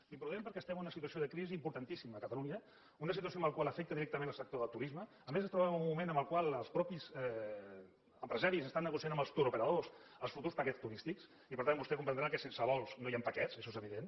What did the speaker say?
d’imprudent perquè estem en una situació de crisi importantíssima a catalunya una situació que afecta directament el sector del turisme a més ens trobem en un moment en el qual els mateixos empresaris estan negociant amb els touroperadors els futurs paquets turístics i per tant vostè comprendrà que sense vols no hi han paquets això és evident